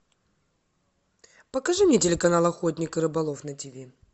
покажи мне телеканал охотник и рыболов на тв